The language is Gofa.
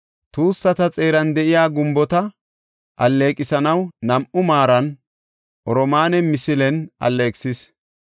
Tuussata xeeran de7iya gumbota alleeqisanaw nam7u maaran oromaane misile alleeqisis.